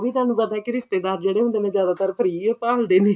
ਉਹ ਵੀ ਤੁਹਾਨੂੰ ਪਤਾ ਕੀ ਰਿਸ਼ਤੇਦਾਰ ਜਿਹੜੇ ਹੁੰਦੇ ਨੇ ਜ਼ਿਆਦਾਤਰ free ਓ ਭਾਲ ਦੇ ਨੇ